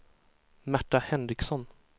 Märta Henriksson